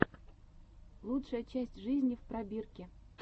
лучшая часть жизни в пробирке